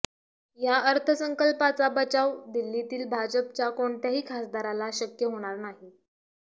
या अर्थसंकल्पाचा बचाव दिल्लीतील भाजपच्या कोणत्याही खासदाराला शक्य होणार नाही